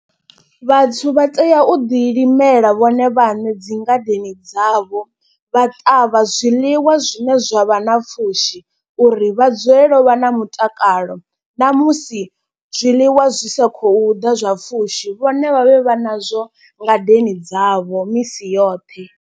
Vhathu vha tea u ḓi limela vhone vhaṋe dzi ngadeni dzavho. Vha ṱavha zwiḽiwa zwine zwavha na pfhushi uri vha dzulele u vha na mutakalo. Namusi zwiḽiwa zwi sa khou ḓa zwa pfhushi vhone vha vhe vha nazwo ngadeni dzavho misi yoṱhe.